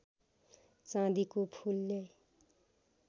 चाँदीको फूल ल्याई